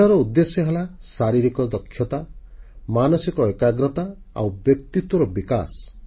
ଖେଳର ଉଦ୍ଦେଶ୍ୟ ହେଲା ଶାରୀରିକ ଦକ୍ଷତା ମାନସିକ ଏକାଗ୍ରତା ଆଉ ବ୍ୟକ୍ତିତ୍ୱର ବିକାଶ